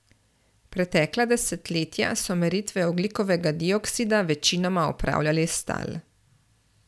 Pretekla desetletja so meritve ogljikovega dioksida večinoma opravljali s tal.